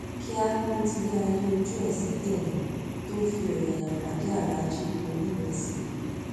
kíá ló ti yáa yí ojú ẹ sí tẹrín tó fi ọyàyà pàdé aláàjì onírésì yìí